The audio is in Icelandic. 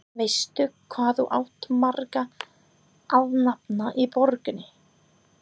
Veistu, hvað þú átt marga alnafna í borginni?